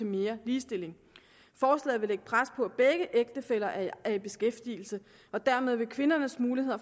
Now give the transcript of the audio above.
mere ligestilling forslaget vil lægge pres på at begge ægtefæller er i beskæftigelse og dermed vil kvindernes muligheder